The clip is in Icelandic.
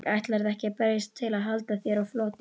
Ætlarðu ekki að berjast til að halda þér á floti?